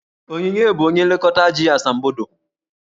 Onyinye bụ onye nlekọta ji asambodo.